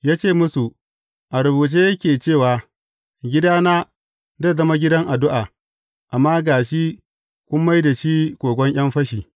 Ya ce musu, A rubuce, yake cewa, Gidana, zai zama gidan addu’a,’ amma ga shi kun mai da shi kogon ’yan fashi.’